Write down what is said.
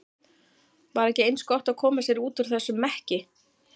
Var ekki eins gott að koma sér út úr þessum mekki?